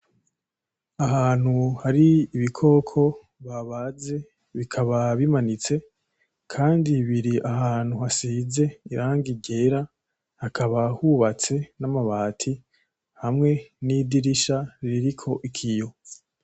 Ahantu hari ibikoko babaze bikaba bimanitse. Kandi biri ahantu hasize irangi ryera. Hakaba hubatse n'amabati, hamwe n'idirisha ririko ikiyo.